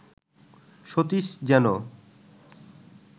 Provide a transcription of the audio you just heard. সতীশ যেন